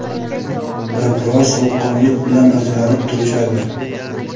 va biroz sovuqqonlik bilan ajralib turishadi.